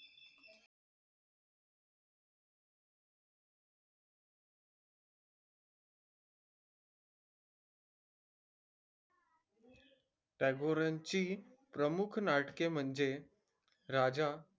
टागोरांची प्रमुख नाटके म्हणजे राजा,